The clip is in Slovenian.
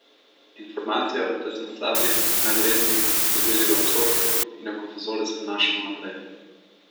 Informacijo, da smo slabi, nevredni, smo dobili v otroštvu in jo kot vzorec prenašamo naprej.